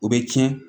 O bɛ tiɲɛ